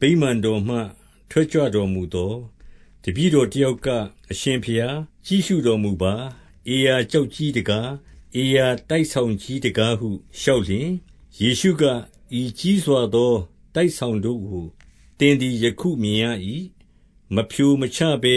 ဗိမာန်တော်မှ ထွက်ကြွတော်မူသော်၊ တပည့်တော်တယောက်က၊ အရှင်ဘုရားကြည့် ရှုတော်မူပါ။ ဧရာကျောက်ကြီးတကား၊ ဧရာတိုက်ကြီးတကားဟု လျှောက်လျှင်၊ 2 ယေရှုက၊ ဤကြီးစွာသောတိုက်ဆောင်တို့ကို သင်သည်ယခုမြင်ရ၏။ မဖြိုမချဘဲ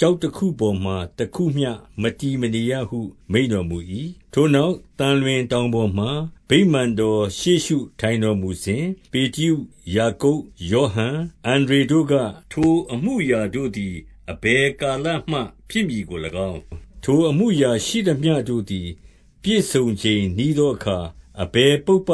ကျောက်တခုပေါ်မှာ တခုမျှမတည် မနေရဟုမိန့်တော်မူ၏။ 3 ထိုနောက်သံလွင်တောင်ပေါ်မှာ ဗိမာန်တော်ရှေ့ရှုထိုင်တော်မူစဉ်၊ ပေတရု၊ ယာကုပ်၊ ယောဟန်၊ အန္ဒြေတို့က၊ 4 ထိုအမှုအရာတို့သည် အဘယ်ကာလမှ ဖြစ်မည်ကို၎င်း၊ ထိုအမှုအရာရှိသမျှတို့သည် ပြည့်စုံချိန်နီးသော အခါ အဘယ်ပုပ္ပ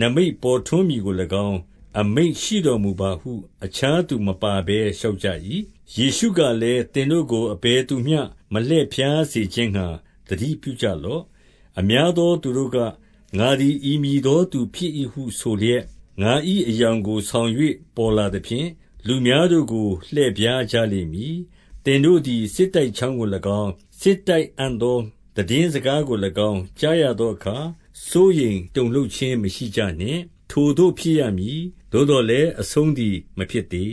နိမိတ်ပေါ်ထွန်းမည်ကို၎င်း အမိန့်ရှိတော်မူပါဟု အခြားသူမပါဘဲ လျှောက်ကြ၏။ 5 ယေရှုကလည်း၊ သင်တို့ကိုအဘယ်သူမျှ မလှည့်ဖြားစေခြင်းငှါ သတိပြုကြလော့။ 6 အများသောသူတို့က၊ ငါသည် ဤမည်သောသူဖြစ်၏ဟုဆိုလျက်၊ ငါ၏အယောင်ကိုဆောင်၍ ပေါ်လာ သဖြင့်၊ လူများတို့ကို လှည့်ဖြားကြလိမ့်မည်။ 7 သင်တို့သည် စစ်တိုက်ကြောင်းကို၎င်း၊ စစ်တိုက်ခံသောသိတင်းစကားကို၎င်း ကြားရသောအခါ စိုးရိမ် တုန်လှုပ်ခြင်းမရှိကြနှင့်၊ ထိုသို့ဖြစ်ရမည်။ သို့သော်လည်း အဆုံးသည်မဖြစ်သေး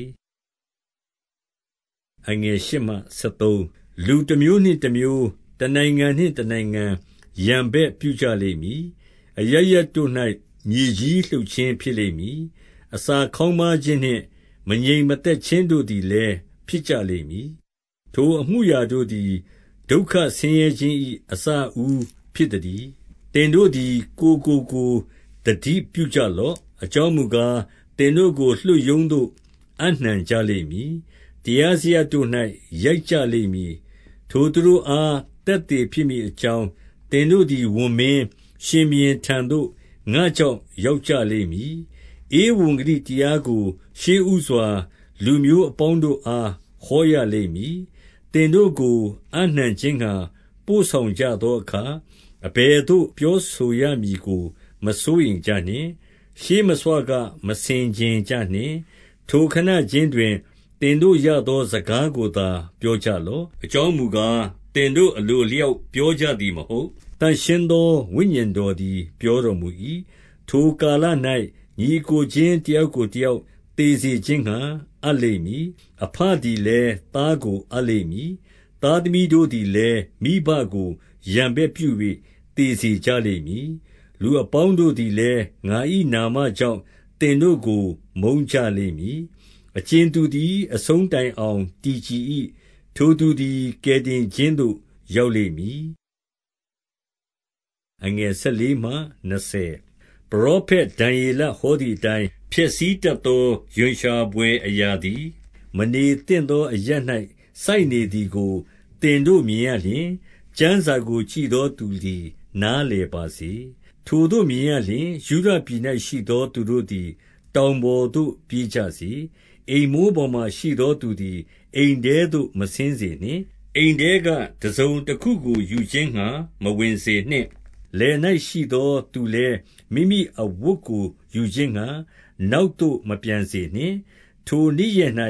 ။ 8 လူတမျိုးနှင့်တမျိုး၊ တနိုင်ငံနှင့် တနိုင်ငံရန်ဘက်ပြုကြလိမ့်မည်။ အရပ်ရပ်တို့၌ မြေကြီးလှုပ်ခြင်း ဖြစ် လိမ့်မည်။ အစာခေါင်းပါးခြင်းနှင့် မငြိမ်းမသက်ခြင်းတို့သည်လည်း ဖြစ်ကြလိမ့်မည်။ ထိုအမှုအရာတို့သည် ဒုက္ခ ဆင်းရဲခြင်း၏ အစအဦးဖြစ်သတည်း။ 9 သင်တို့သည် ကိုယ်ကိုကိုယ်သတိပြုကြလော့။ အကြောင်းမူကား၊ သင်တို့ကို လွှတ်ရုံးသို့အပ်နှံကြလိမ့် မည်။ တရားစရပ်တို့၌ ရိုက်ကြလိမ့်မည်။ ထိုသူတို့အား သက်သေဖြစ်မည်အကြောင်း၊ သင်တို့သည်ဝန်မင်း၊ ရှင်ဘုရင်ထံသို့ ငါ့ကြောင့် ရောက်ကြလိမ့်မည်။ 10 ဧဝံဂေလိတရားကို ရှေ့ဦးစွာ လူမျိုးအပေါင်းတို့အားဟောရလိမ့်မည်။ သင်တို့ကို အပ်နှံခြင်းငှါ ပို့ ဆောင် ကြသောအခါ အဘယ်သို့ပြောဆိုရမည်ကို မစိုးရိမ်ကြနှင့်။ 11 ရှေ့မဆွက မဆင်ခြင်ကြနှင့်။ ထိုခဏခြင်းတွင် သင်တို့ရသောစကားကို သင်တို့အလိုအလျောက် ပြော ကြသည်မဟုတ်၊ သန့်ရှင်းသောဝိညာဉ်တော်သည် ပြောတော်မူ၏။ 12 ထိုကာလ၌ ညီအစ်ကိုချင်း တယောက်ကိုတယောက် သေစေခြင်းငှါ အပ်လိမ့်မည်။ အဘသည်လည်း မိဘကိုရန်ဘက်ပြု၍ သေစေကြလိမ့်မည်။ 13 လူအပေါင်းတို့သည်လည်း ငါ၏နာမကြောင့် သင်တို့ကိုမုန်းကြလိမ့်မည်။ အကြင်သူသည် အဆုံးတိုင် အောင်တည်ကြည်၏။ ထိုသူသည် ကယ်တင်ခြင်းသို့ရောက်လိမ့်မည်။ 14 ပရောဖက်ဒံယေလဟောသည်အတိုင်း၊ ဖျက်ဆီး တတ်သော ရွံရှာဘွယ်အရာသည် မနေသင့်သောအရပ်၌ စိုက်နေသည်ကို သင်တို့မြင်ရလျှင်၊ ကျမ်းစာကိုကြည့် သောသူသည် နားလည်ပါစေ။ ထိုသို့မြင်ရလျှင် ယုဒပြည် ၌ရှိသော သူတို့သည် တောင်ပေါ်သို့ပြေးကြစေ။ 15 အိမ်မိုးပေါ်မှာရှိသောသူသည် အိမ်ထဲသို့ မဆင်း စေနှင့်။ အိမ်ထဲက တစုံတခုကို ယူခြင်းငှါ မဝင်စေနှင့်။ 16 လယ်၌ရှိသောသူလည်း မိမိအဝတ်ကိုယူခြင်းငှါ နောက်သို့မပြန်စေနှင့်။ 17 ထိုနေ့ရက်၌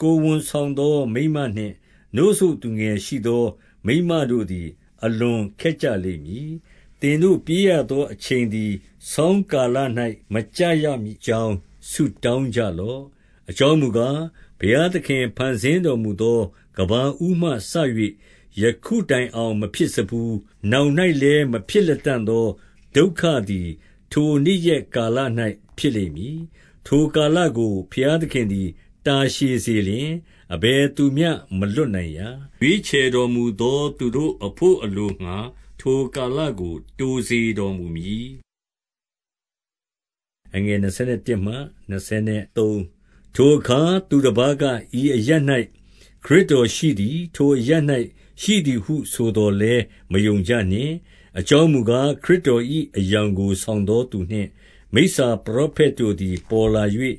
ကိုယ်ဝန်ဆောင်သောမိန်းမနှင့် နို့စို့သူငယ်ရှိသော မိန်းမတို့သည် အလွန်ခက်ကြလိမ့်မည်။ 18 သင်တို့ ပြေးရသောအချိန်သည် ဆောင်းကာလ၌ မကျရမည်အကြောင်း ဆုတောင်းကြလော့။ 19 အကြောင်းမူကား၊ ဘုရားသခင် ဖန်ဆင်းတော်မူသော ကမ္ဘာဦးမှစ၍ ယခုတိုင်အောင်မဖြစ်စဖူး၊ နောက်၌လည်း မဖြစ်လတံ့သောဒုက္ခသည် ထိုနေ့ရက်ကာလ၌ ဖြစ်လိမ့်မည်။ 20 ထိုကာလကို ဘုရားသခင်သည် တာရှည်စေလျှင်၊ အဘယ်သူမျှမလွတ်နိုင်ရာ။ ရွေးချယ်တော်မူသော သူတို့အဘို့အလိုငှါ ထိုကာလကို တိုစေတော်မူမည်။ 21 ထိုအခါ သူတပါးက၊ ဤအရပ်၌ ခရစ်တော်ရှိသည်၊ ထိုအရပ်၌ရှိသည်ဟုဆိုသော်လည်းမယုံကြနှင့်။ 22 အကြောင်းမူကား၊ ခရစ်တော်၏ အယောင်ကိုဆောင်သောသူနှင့် မိစ္ဆာပရောဖက်တို့သည် ပေါ်လာ၍၊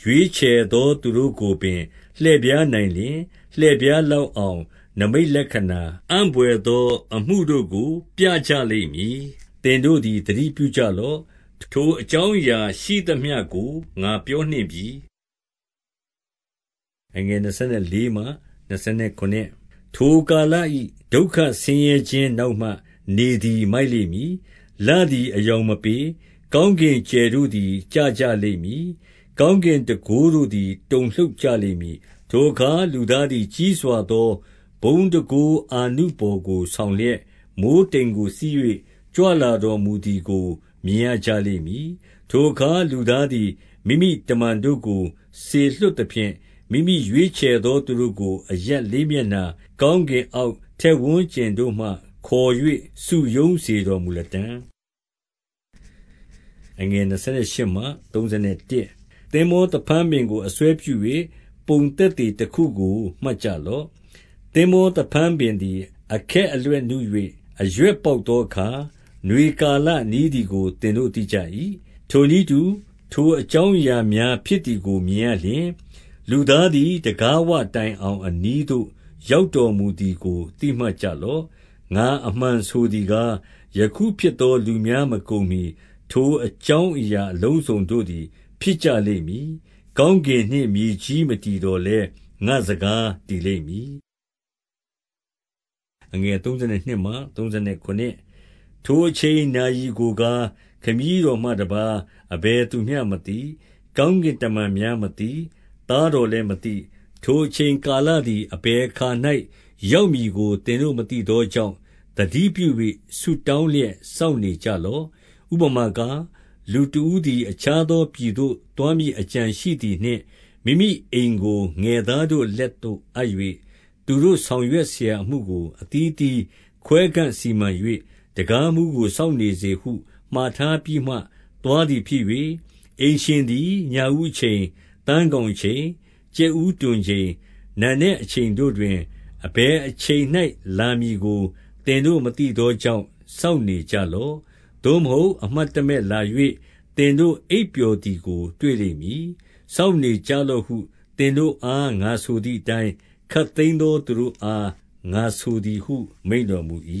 ရွေးချယ်သောသူတို့ကို ပြကြလိမ့်မည်။ 23 သင်တို့သည် သတိပြုကြလော့။ ထိုအကြောင်းအရာရှိသမျှကို ငါပြောနှင့်ပြီ။ 24 ထိုကာလ၏ ဒုက္ခဆင်းရဲခြင်း နောက်မှနေသည် မိုက်လိမ့်မည်။ လသည်အရောင်မပေး။ 25 ကောင်းကင်ကြယ်တို့သည် ကျကြလိမ့်မည်။ ကောင်းကင်တန်ခိုးတို့သည် တုန်လှုပ်ကြလိမ့်မည်။ 26 ထိုအခါ လူသားသည်ကြီးစွာသောဘုန်းတန်ခိုး အာနုဘော်ကိုဆောင်လျက်၊ မိုဃ်းတိမ်ကိုစီး၍ ကြွလာ တော်မူသည်ကို မြင်ရကြလိမ့်မည်။ 27 ထိုအခါ လူသားသည် မိမိတမန်တို့ကို စေလွှတ်သဖြင့် မိမိရွေးချယ်သောသူတို့ကို အရပ်လေးမျက်နှာ ကောင်းကင်အောက် ထက်ဝန်းကျင်တို့မှခေါ်၍ စုရုံးစေတော်မူလတံ့။ 28 သင်္ဘောသဖန်းပင်ကို အစွဲပြု၍ ပုံသက်သေတခုကိုမှတ်ကြလော့။ သင်္ဘောသဖန်းပင်သည် အခက် အလက်နု၍ အရွက်ပေါက်သောအခါ၊ နွေလာကနီးသည်ကို သင်တို့သိကြ၏။ 29 ထိုနည်းတူ ထိုအကြောင်းအရာများဖြစ်သည်ကို မြင်ရလျှင်၊ လူသားသည်တံခါးဝတိုင်အောင် အနီးသို့ ရောက်တော်မူသည်ကို သိမှတ်ကြလော့။ 30 ငါအမှတ်ဆိုသည်ကား၊ ယခုဖြစ်သော လူများမကုန်မှီ ထိုအကြောင်းအရာအလုံးစုံတို့သည် ဖြစ်ကြ လိမ့်မည်။ 31 ကောင်းကင်နှင့်မြေကြီးမတည်သော်လည်း ငါ့စကားတည်လိမ့်မည်။ 32 ထိုအချိန်နာရီကိုကား၊ ခမည်းတော်မှတပါးအဘယ်သူမျှမသိ။ ကောင်းကင်တမန်များမသိ။ သားတော် လည်းမသိ။ 33 ထိုအချိန်ကာလသည် အဘယ်အခါ၌ ရောက်မည်ကို သင်တို့မသိသောကြောင့် သတိပြု၍ဆုတောင်း လျက် စောင့်နေကြလော့။ 34 ဥပမာကား၊ လူတဦးသည် အခြားသောပြည်သို့ သွားမည်အကြံရှိသည်နှင့် မိမိအိမ်ကို ငယ်သားတို့ လက်သို့အပ်၍၊ သူတို့ဆောင်ရွက်စရာအမှုကို အသီးအသီးခွဲခန့်စီမံ၍၊ တံခါးမှူးကိုစောင့်နေစေဟု မှာထားပြီးမှ သွားသည်ဖြစ်၍၊ 35 အိမ်ရှင်သည် ညဦးအချိန်၊ သန်းခေါင်အချိန်၊ ကြက်ဦးတွန်ချိန်၊ နံနက်အချိန်တို့တွင် အဘယ်အချိန်၌ လာမည်ကို သင်တို့မသိသောကြောင့် စောင့်နေကြလော့။ 36 သို့မဟုတ်အမှတ်တမဲ့လာ၍ သင်တို့အိပ်ပျော်သည်ကိုတွေ့လိမ့်မည်။ 37 စောင့်နေကြလော့ဟု သင်တို့အား ငါဆိုသည်အတိုင်း၊ ခပ်သိမ်းသောသူတို့အား ငါဆိုသည်ဟု မိန့် တော်မူ၏။